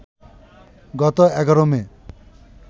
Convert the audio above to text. গত ১১ মে